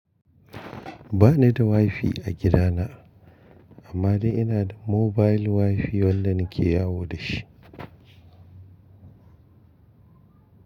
Ba ni da WiFi a gida na, amma dai ina da mobile WiFi wanda nake yawo da shi.